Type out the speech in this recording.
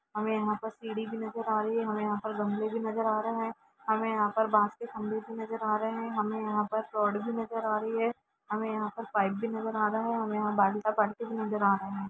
हमे यहाँ पर सीडी भी नजर आ रही है हमे यहाँ पर गमले भी नजर आ रहे है हमे यहाँ पर बांस के खम्बे भी नजर आ रहे है हमे यहाँ पर रोड भी नजर आ रही है हमे यहाँ पर पाइप भी नजर आ रहा है हमे यहाँ बालटा बालटी भी नजर आ रहे है।